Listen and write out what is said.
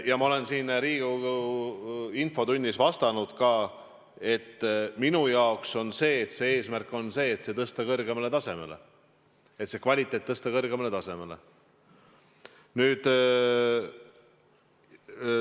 Ja ma olen siin Riigikogu infotunnis vastanud ka, et minu eesmärk on tõsta see kvaliteet kõrgemale tasemele.